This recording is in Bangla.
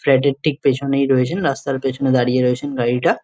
ফ্ল্যাট -এর ঠিক পিছনেই রয়েছেন রাস্তার পিছনে দাঁড়িয়ে রয়েছেন গাড়িটা।